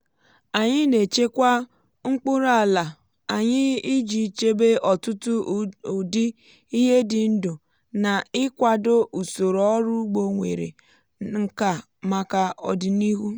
anyị na-echekwa mkpụrụ ala anyị iji chebe ọtụtụ ụdị ihe dị ndụ na ịkwado usoro ọrụ ugbo nwere nkà maka ọdịnihu.